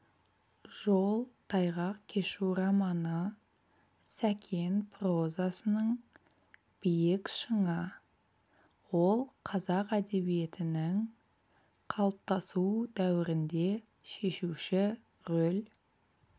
жол тайғақ кешу романы сәкен прозасының биік шыңы ол қазақ әдебиетінің қалыптасу дәуірінде шешуші рөл